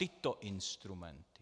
Tyto instrumenty.